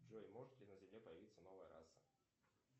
джой может ли на земле появиться новая раса